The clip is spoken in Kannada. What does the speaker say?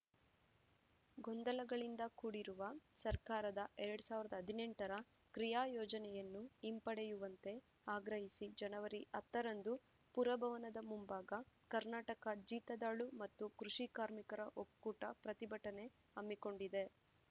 ಗೊಂದಲಗಳಿಂದ ಕೂಡಿರುವ ಸರ್ಕಾರದ ಎರಡ್ ಸಾವಿರದ ಹದಿನೆಂಟರ ಕ್ರಿಯಾ ಯೋಜನೆಯನ್ನು ಹಿಂಪಡೆಯುವಂತೆ ಆಗ್ರಹಿಸಿ ಜನವರಿ ಹತ್ತರಂದು ಪುರಭವನದ ಮುಂಭಾಗ ಕರ್ನಾಟಕ ಜೀತದಾಳು ಮತ್ತು ಕೃಷಿ ಕಾರ್ಮಿಕರ ಒಕ್ಕೂಟ ಪ್ರತಿಭಟನೆ ಹಮ್ಮಿಕೊಂಡಿದೆ